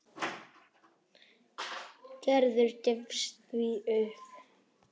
Gerður gefst því upp.